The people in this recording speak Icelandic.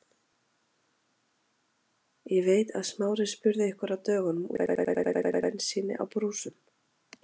Ég veit að Smári spurði ykkur á dögunum út í sölu á bensíni á brúsum.